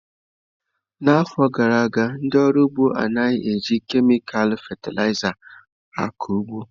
N'afọ gara aga, ndị ọrụ ugbo anaghị eji kemịkal fatịlaịza akụ ụgbọ.